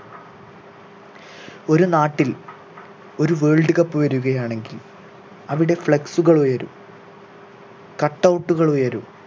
ഒരു നാട്ടിൽ ഒരു world cup വരുകയാണെങ്കിൽ അവിടെ flex കൾ ഉയരും cut out കൾ ഉയരും